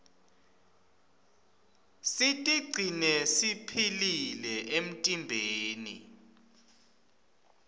sitigcine siphilile emtimbeni